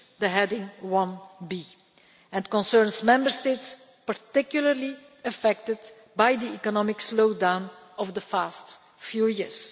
Heading 1b and concerns Member States particularly affected by the economic slowdown of the past few